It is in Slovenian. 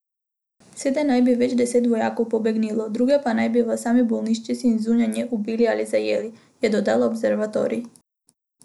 Sedaj naj bi več deset vojakov pobegnilo, druge pa naj bi v sami bolnišnici in zunaj nje ubili ali zajeli, je dodal observatorij.